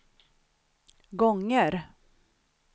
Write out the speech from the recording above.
gånger